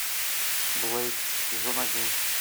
блэйд сезон один